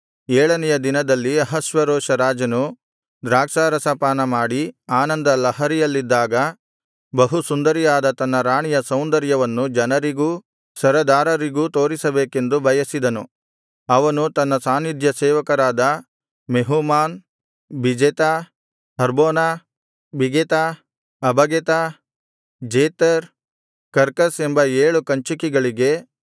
ಏಳನೆಯ ದಿನದಲ್ಲಿ ಅಹಷ್ವೇರೋಷ ರಾಜನು ದ್ರಾಕ್ಷಾರಸ ಪಾನಮಾಡಿ ಆನಂದಲಹರಿಯಲ್ಲಿದ್ದಾಗ ಬಹು ಸುಂದರಿಯಾದ ತನ್ನ ರಾಣಿಯ ಸೌಂದರ್ಯವನ್ನು ಜನರಿಗೂ ಸರದಾರರಿಗೂ ತೋರಿಸಬೇಕೆಂದು ಬಯಸಿದನು ಅವನು ತನ್ನ ಸಾನ್ನಿಧ್ಯಸೇವಕರಾದ Mehuman Biztha Harbona Bigtha Abagtha Zethar Carcas ಎಂಬ ಏಳು ಕಂಚುಕಿಗಳಿಗೆ